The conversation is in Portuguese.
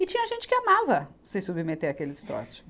E tinha gente que amava, se submeter àqueles trote.